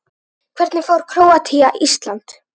Hvernig fer Króatía- Ísland?